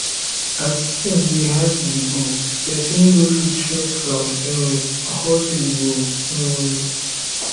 as tins dey hard dey go pesin no fit rest from um hustle o um